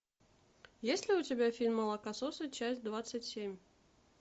есть ли у тебя фильм молокососы часть двадцать семь